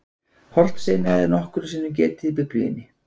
Hornsteina er nokkrum sinnum getið í Biblíunni.